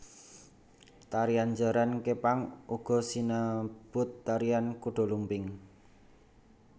Tarian jaran kepang uga sinebut tarian kuda lumping